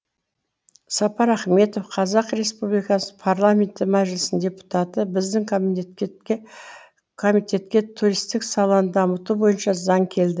сапар ахметов қазақ республикасы парламенті мәжілісінің депутаты біздің комитетке туристік саланы дамыту бойынша заң келді